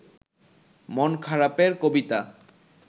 মন খারাপের কবিতা